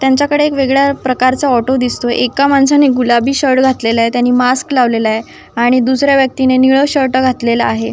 त्यांच्याकडे वेगळ्या प्रकारचा ऑटो दिसतोय एका माणसाने गुलाबी शर्ट घातलेलाय त्यानी मास्क लावलेलाय आणि दुसऱ्या व्यक्तीने निळ शर्ट घातलेला आहे.